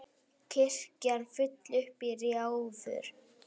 Kirkjan full upp í rjáfur.